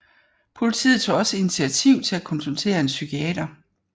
Politiet tog også initiativ til at konsultere en psykiater